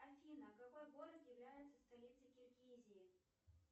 афина какой город является столицей киргизии